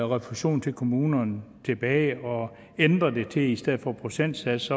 refusion til kommunerne tilbage og ændre det så de i stedet for en procentsats